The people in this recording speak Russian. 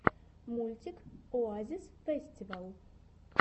мультик оазисфэстивал